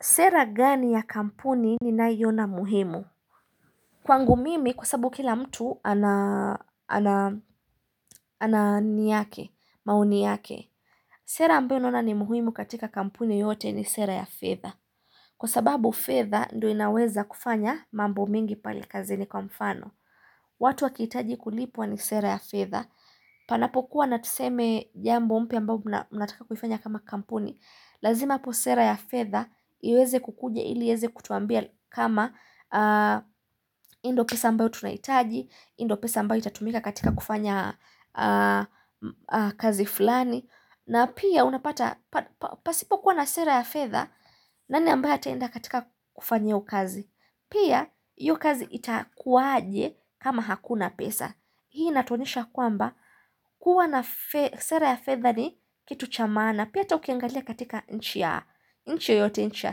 Sera gani ya kampuni ninayoiona muhimu? Kwangu mimi kwa sababu kila mtu ana anani yake maoni yake Sera ambayo naona ni muhimu katika kampuni yote ni sera ya fedha Kwa sababu fedha ndo inaweza kufanya mambo mingi pale kazini kwa mfano watu wakihitaji kulipwa ni sera ya fedha, panapo kuwa natuseme jambo mpya ambao mna mnataka kuifanya kama kampuni lazima hapo sera ya fedha iweze kukuja ili eze kutuambia kama hii ndo pesa ambao tunahitaji, hii ndo pesa mbao itatumika katika kufanya kazi fulani na pia unapata, pa pa pasipo kuwa na sera ya fedha nani ambae ataenda katika kufanya hiyo kazi. Pia hiyo kazi itakuaje kama hakuna pesa Hii inatuonyesha ya kwamba kuwa na sera ya fedha ni kitu cha maana Pia hata ukiangalia katika nchi ya nchi yote nchi ya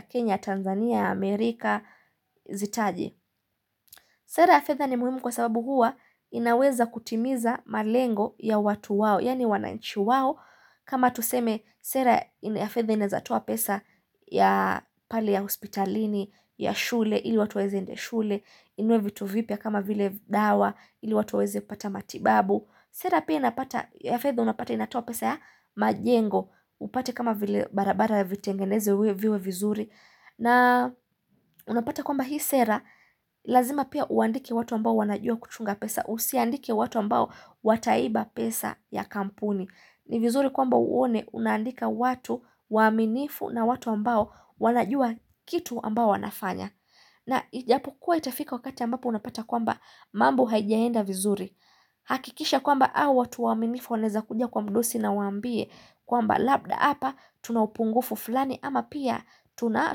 Kenya, Tanzania, Amerika, Zitaje Sera ya feather ni muhimu kwa sababu hua inaweza kutimiza malengo ya watu wao yani wana nchi wao kama tuseme sera ya feather inaezatoa pesa ya pale ya hospitalini, ya shule ili watu waweze enda shule, inunue vitu vipya kama vile dawa, ili watu waweze kupata matibabu. Sera pia napata, ya feather unapata inatoa pesa ya majengo, upate kama vile barabara vitengeneze uwe iwe vizuri. Na unapata kwamba hii sera, lazima pia uandike watu ambao wanajua kuchunga pesa, usiandike watu ambao wataiba pesa ya kampuni. Ni vizuri kwamba uone, unaandika watu waminifu na watu ambao wanajua kitu ambao wanafanya. Na ijapo kuwa itafika wakati ambapo unapata kwamba mambo haijaenda vizuri. Hakikisha kwamba hawa watu waminifu waneza kuja kwa mdosi na waambie kwamba labda apa tuna upungufu fulani ama pia tuna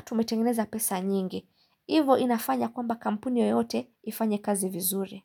tumetengeneza pesa nyingi. Ivo inafanya kwamba kampuni yoyote ifanye kazi vizuri.